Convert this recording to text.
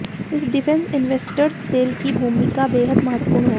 इस defence investors cell की भूमिका बेहद महत्वपूर्ण होगी